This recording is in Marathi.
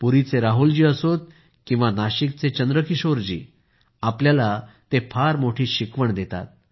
पुरीचे राहुल असोत किंवा नाशिकचे चंद्रकिशोर हे आपल्याला फार मोठी शिकवण देतात